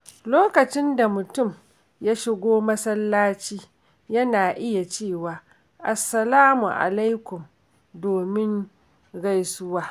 Lokacin da mutum ya shigo masallaci, yana iya cewa “Assalamu Alaikum” domin gaisuwa.